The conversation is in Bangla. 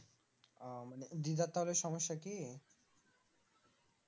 ও দিদার তাহলে সমস্যা কি